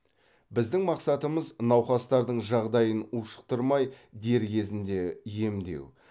біздің мақсатымыз науқастардың жағдайын ушықтырмай дер кезінде емдеу